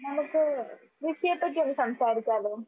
നമുക്ക് കൃഷിയെപ്പറ്റി ഒന്ന് സംസാരിച്ചാലോ?